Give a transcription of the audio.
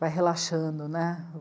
Vai relaxando, né?